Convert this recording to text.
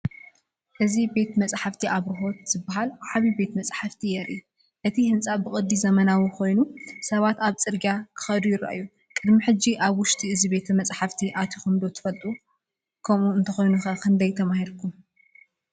እዚ "ቤተ መጻሕፍቲ ኣብርሆት" ዝበሃል ዓቢ ቤተ መጻሕፍቲ የርኢ። እቲ ህንጻ ብቅዲ ዘመናዊ ኮይኑ፡ ሰባት ኣብቲ ጽርግያ ክኸዱ ይረኣዩ። ቅድሚ ሕጂ ኣብ ውሽጢ እዚ ቤተ መጻሕፍቲ ኣቲኩም ዶ ትፈልጡ? ከምኡ እንተ ዀይኑ፡ ክንደይ ተማሂርኩም?